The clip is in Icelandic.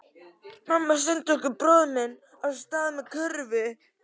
Mamma sendi okkur bróður minn af stað með körfu.